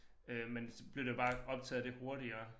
Øh men så bliver det bare optaget det hurtigere